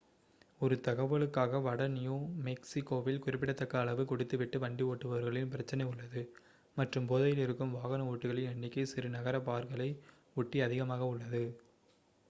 ஒரு 1 தகவலுக்காக வட நியூ மெக்ஸிகோவில் குறிப்பிடத்தக்க அளவு குடித்து விட்டு வண்டி ஓட்டுபவர்களின் பிரச்சினை உள்ளது மற்றும் போதையிலிருக்கும் வாகன ஓட்டிகளின் எண்ணிக்கை சிறு நகர பார்களை ஒட்டி அதிகமாக உள்ளது